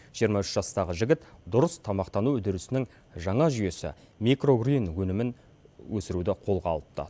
жиырма үш жастағы жігіт дұрыс тамақтану үдерісінің жаңа жүйесі микрогрин өнімін өсіруді қолға алыпты